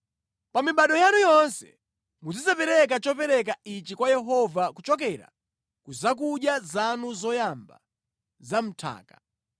Pa mibado yanu yonse muzidzapereka chopereka ichi kwa Yehova kuchokera ku zakudya zanu zoyamba za mʼnthaka.